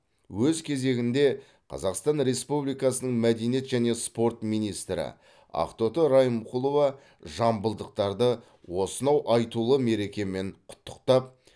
өз кезегінде қазақстан республикасының мәдениет және спорт министрі ақтоты райымқұлова жамбылдықтарды осынау айтулы мерекемен құттықтап